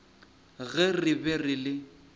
ge re be re le